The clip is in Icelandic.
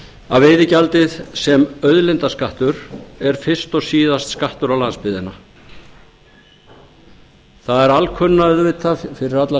að veiðigjaldið sem auðlindaskattur sé fyrst og síðast skattur á landsbyggðina það er alkunna auðvitað fyrir alla